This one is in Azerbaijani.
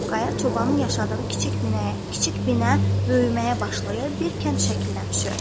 Qaya çobanın yaşadığı kiçik binəyə, kiçik binə böyüməyə başlayır, bir kənd şəklinə düşür.